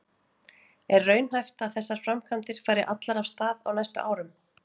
Er raunhæft að þessar framkvæmdir fari allar af stað á næstu árum?